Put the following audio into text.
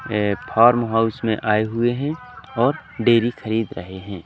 ये farm house में आए हुए हैं और डेरी खरीद रहे हैं।